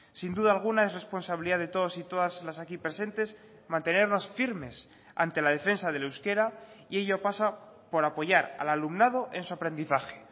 sin duda alguna es responsabilidad de todos y todas las aquí presentes mantenernos firmes ante la defensa del euskera y ello pasa por apoyar al alumnado en su aprendizaje